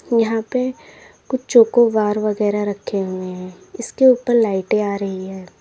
यहां पे कुछ चोको बार वगैरा रखे हुई है इसके ऊपर लाइटे आ रही है।